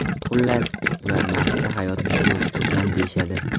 Xullas, ular Marsda hayot jo‘sh urgan deyishadi.